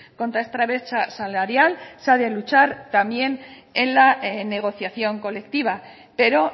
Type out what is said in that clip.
contra esta brecha salarial se ha de luchar también en la negociación colectiva pero